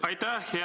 Aitäh!